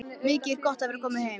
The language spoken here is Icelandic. Mikið er gott að vera komin heim!